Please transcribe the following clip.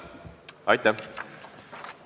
Aitäh!